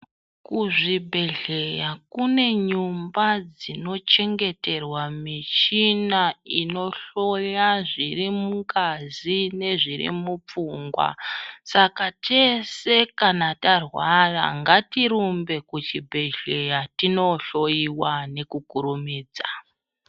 Kuzvibhedhlera kune nyumba dzinochengeterwa michina inohloya zviri mungazi nezviri mupfungwa Saka tese kana tarwara ngatirumbe kuchibhedhlera tindohloiwa nekukurumidza.